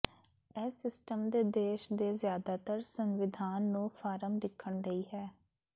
ਇਸ ਸਿਸਟਮ ਦੇ ਦੇਸ਼ ਦੇ ਜ਼ਿਆਦਾਤਰ ਸੰਵਿਧਾਨ ਨੂੰ ਫਾਰਮ ਲਿਖਣ ਲਈ ਹੈ